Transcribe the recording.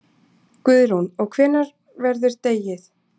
Guðrún: Og hvenær verður dregið?